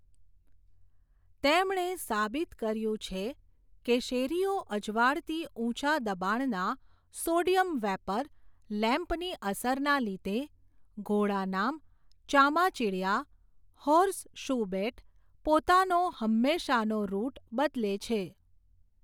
તેમણે સાબિત કર્યું છે, કે શેરીઓ અજવાળતી ઉંચા દબાણના, સોડિયમ વેપર, લેમ્પની અસરના લીધે, ઘોડા નામ, ચામાચિડીયા, હોર્સ શુ બેટ, પોતાનો હંમેશાનો રૃટ બદલે છે.